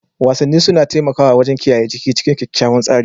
Wasanni suna taimakawa wajen kiyaye jiki cikin kyakkyawan tsari.